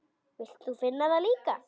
Vilt þú finna það líka?